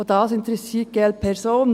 auch dies interessiert die glp.